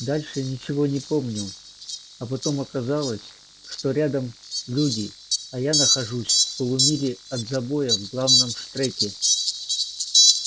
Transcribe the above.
дальше я ничего не помню а потом оказалось что рядом люди а я нахожусь в полумиле от забоя в главном штреке